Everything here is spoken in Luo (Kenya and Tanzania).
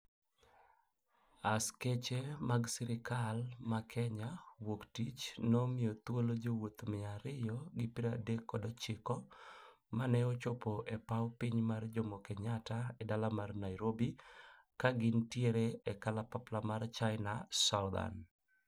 Askache mag sirikal ma kenya woktich nomiothuolo jowoth mia ariyo gi pra dek kod ochiko ma ne ochopo e pao piny mar Jomo Kenyata e dala mar Nairobi ka gin tiere e kalapapla mar China Southern